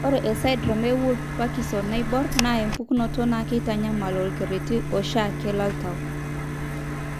Ore esindirom eWolff Parkinson Naibor naa empukunoto naa keitanyamal olkereti oshiake loltau (arrhythmia).